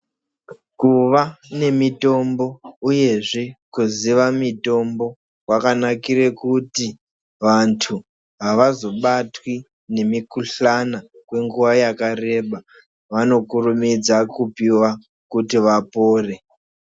Kuva nemitombo uyezvee kuziva mitombo kwakanakire kuti vandu havazobatwi nemikhuhlane kwenguva yakareba vanokurumidza kupiwa kuti vapore.